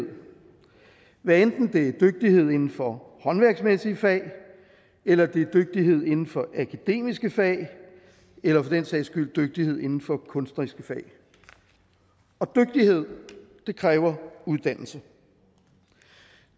hvad enten det er dygtighed inden for håndværksmæssige fag eller det er dygtighed inden for akademiske fag eller for den sags skyld dygtighed inden for kunstneriske fag og dygtighed kræver uddannelse